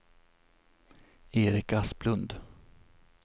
Erik Asplund